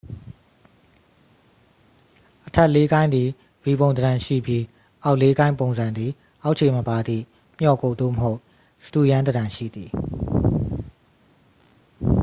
အထက် လေးကိုင်း သည် v ပုံသဏ္ဍန်ရှိပြီး အောက် လေးကိုင်း ပုံစံ သည် အောက်ခြေမပါသည့် မျော့ကုပ် သို့မဟုတ် စတုရန်းသဏ္ဍန်ရှိသည်